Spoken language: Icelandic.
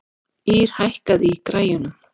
Ýrr, hækkaðu í græjunum.